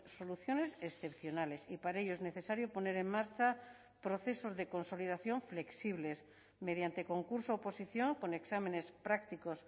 soluciones excepcionales y para ello es necesario poner en marcha procesos de consolidación flexibles mediante concurso oposición con exámenes prácticos